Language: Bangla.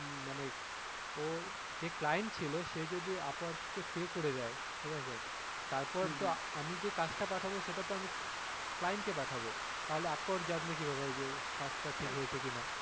উম মানে যে client ছিলো সে যদি upwork কে pay করে দেয় ঠিক আছে তারপর তো আমি যে কাজ টা পাঠাবো সেটা আমি client কে পাঠাবো তাহলে upwork জানবে কীভাবে যে কাজটা ঠিক হয়েছে কিনা?